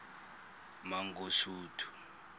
mangosuthu